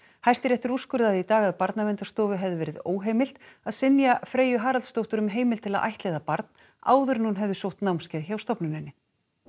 Hæstiréttur úrskurðaði í dag að Barnaverndarstofu hefði verið óheimilt að synja Freyju Haraldsdóttur um heimild til að ættleiða barn áður en hún hefði sótt námskeið hjá stofnuninni